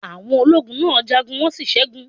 Àwọn ológun náà jagun, wọ́n sí ṣẹgun.